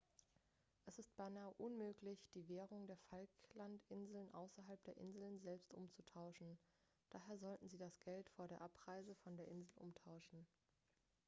es ist beinahe unmöglich die währung der falklandinseln außerhalb der inseln selbst umzutauschen daher sollten sie das geld vor der abreise von der insel umtauschen.x